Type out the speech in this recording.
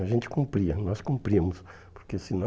A gente cumpria, nós cumpríamos, porque senão...